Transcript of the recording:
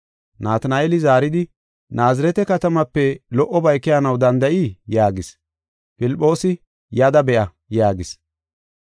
Natina7eeli zaaridi, “Naazirete katamaape lo77obay keyanaw danda7ii?” yaagis. Filphoosi, “Yada be7a” yaagis.